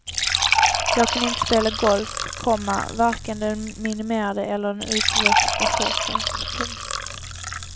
Jag kan inte spela golf, komma varken den minimerade eller den utväxta sortens. punkt